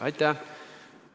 Aitäh!